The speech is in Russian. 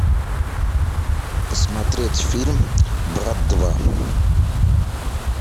посмотреть фильм брат два